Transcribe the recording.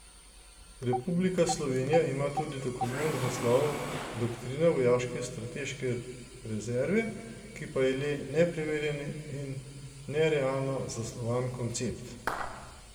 Republika Slovenija ima tudi dokument z naslovom Doktrina vojaške strateške rezerve, ki pa je le nepreverjen in nerealno zasnovan koncept.